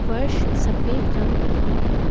फर्श सफेद रंग की है।